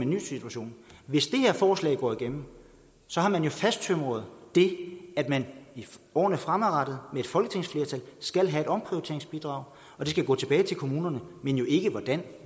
ny situation hvis det her forslag går igennem har man fasttømret det at man i årene fremadrettet med et folketingsflertal skal have et omprioriteringsbidrag og det skal gå tilbage til kommunerne men ikke hvordan